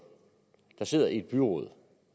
der sidder i et byråd